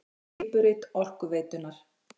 Nýtt skipurit Orkuveitunnar